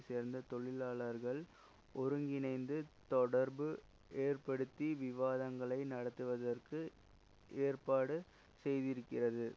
சேர்ந்த தொழிலாளர்களை ஒருங்கிணைத்து தொடர்பு ஏற்படுத்தி விவாதங்களை நடத்துவதற்கு ஏற்பாடு செய்திருக்கிறது